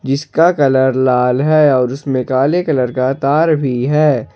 जिसका कलर लाल है और उसमें काले कलर का तार भी है।